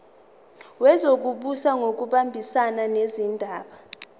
wezokubusa ngokubambisana nezindaba